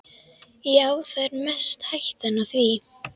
Já, það er mest hættan á því.